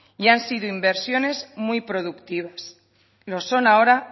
y han sido inversiones muy productivas lo son ahora